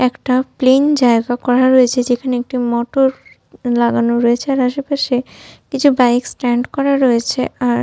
একটা প্লেন জায়গা করা রয়েছে যেখানে একটি মোটর র লাগানো রয়েছে আর আশেপাশে কিছু বাইক স্ট্যান্ড করা রয়েছে আর --